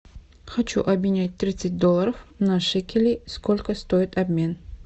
хочу обменять тридцать долларов на шекели сколько стоит обмен